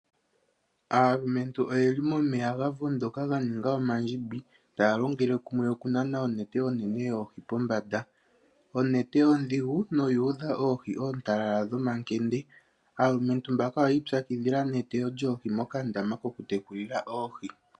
Aalumentu oyendji oye li momeya ga vondoka ga ninga omandjimbi, taya longele kumwe okunana onete onene yoohi pombanda. Onete ondhigu noyu udha oohi oontalala dhomakende. Aalumentu mbaka oyi ipyakidhila neteyo yoohi mokandaama kokutekulila oohi.